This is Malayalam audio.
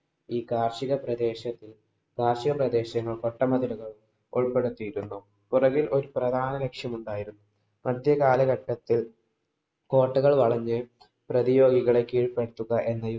ഈ കാര്‍ഷിക പ്രദേശത്തില്‍ കാര്‍ഷിക പ്രദേശങ്ങള്‍, കോട്ടമതിലുകള്‍ ഉള്‍പ്പെടുത്തിയിരുന്നു. പൊറകില്‍ ഒരു പ്രധാന ലക്ഷ്യം ഒണ്ടായിരുന്നു. മധ്യകാലഘട്ടത്തില്‍ കോട്ടകള്‍ വളഞ്ഞു പ്രതിയോഗികളെ കീഴ്പ്പെടുത്തുക എന്ന